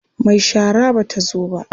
Mai shara ba ta zo ba.